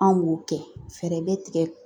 An b'o kɛ fɛɛrɛ bɛ tigɛ